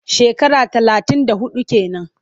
Shekara talatin da huɗu ke nan.